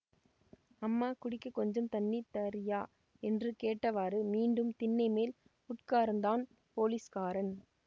அம்மா குடிக்கக் கொஞ்சம் தண்ணி தர்ரியா என்று கேட்டவாறு மீண்டும் திண்ணைமேல் உட்கார்ந்தான் போலீஸ்காரன்